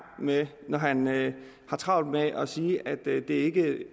med når han har travlt med at sige at det ikke